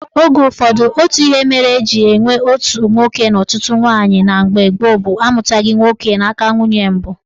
Oge ụfọdụ, otu ihe mere eji enwe otu nwoke na ọtụtụ nwaanyị na mgbe gboo bụ amụtaghị nwa nwoke n'aka nwunye mbụ